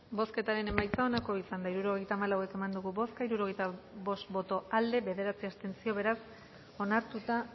bozketaren emaitza onako izan da hirurogeita hamalau eman dugu bozka hirurogeita bost boto aldekoa bederatzi abstentzio beraz onartuta